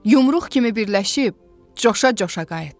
Yumruq kimi birləşib coşa-coşa qayıtdıq.